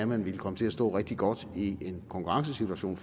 man komme til at stå rigtig godt i en konkurrencesituation